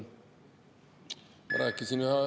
Ma rääkisin …